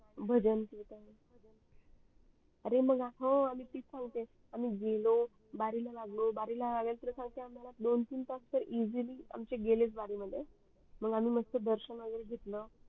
भजन कीर्तन अरे हं मग तेच सांगते आम्ही गेलो बारी ला लागलो बारी ला मग दोन तीन तास तर easily आमचे गेले बारी मध्ये मग आम्ही मस्त दर्शन घेतलं